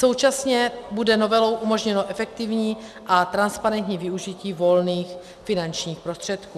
Současně bude novelou umožněno efektivní a transparentní využití volných finančních prostředků.